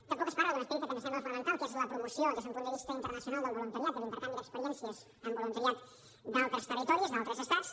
tampoc es parla d’un aspecte que ens sembla fonamental que és la promoció des d’un punt de vista internacional del voluntariat i l’intercanvi d’experiències amb voluntariat d’altres territoris d’altres estats